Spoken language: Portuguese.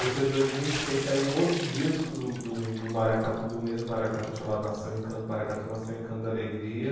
Depois de dois mil e seis saiu um outro disco do do do Maracatu do mesmo Maracatu chamado Nação e Encanto, Maracatu, Nação e Encanto da Alegria.